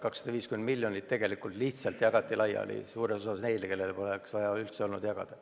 250 miljonit eurot tegelikult lihtsalt jagati laiali ja suures osas neile, kellele poleks üldse olnud vaja jagada.